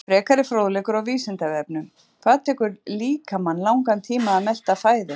Frekari fróðleikur á Vísindavefnum: Hvað tekur líkamann langan tíma að melta fæðu?